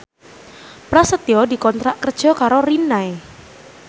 Prasetyo dikontrak kerja karo Rinnai